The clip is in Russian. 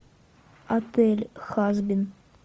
отель хазбин